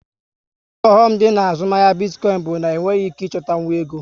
Otu oghọm dị na azụmahịa bitcoin bụ na enweghị ike ịchọtanwu ego